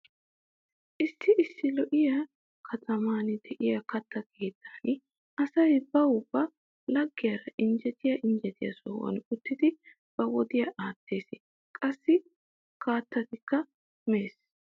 Issi issi lo'iya kataman diya katta keettan asay bawu ba laggiyaara injjetiya injjetiya sohan uttidi ba wodiya aattees. Qassi kattaakka mees.